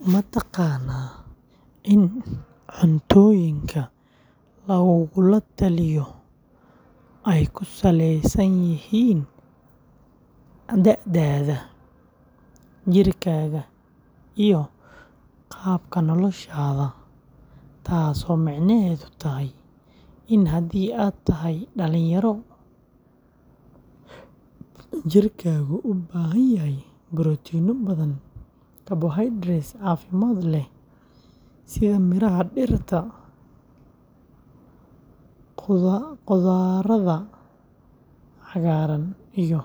Ma taqaanaa in cuntooyinka lagugula taliyo ay ku salaysan yihiin da’daada, jirkaaga iyo qaabka noloshaada, taasoo micnaheedu yahay in haddii aad tahay dhalinyaro, jirkaagu u baahan yahay borotiinno badan, carbohydrateska caafimaad leh sida miraha dhirta, khudradda cagaaran iyo